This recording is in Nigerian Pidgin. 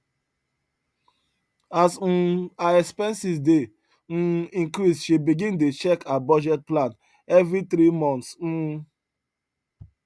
as um her expenses dey um increase she begin dey check her budget plan every three months um